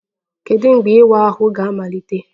Kedu mgbe ịwa ahụ ga-amalite?